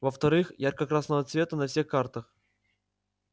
во-вторых ярко-красного цвета на всех картах